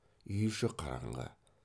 үй іші қараңғы